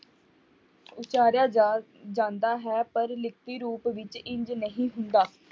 ਉਚਾਰਿਆ ਜਾ ਜਾਂਦਾ ਹੈ ਪਰ ਲਿਖਤੀ ਰੂਪ ਵਿੱਚ ਇੰਞ ਨਹੀਂ ਹੁੰਦਾ।